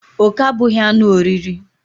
Oke abụghị anụ oriri